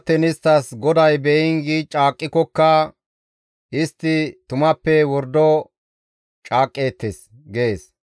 Gido attiin isttas, ‹GODAY beyiin› gi caaqqikokka istti tumappe wordo caaqqeettes» gees.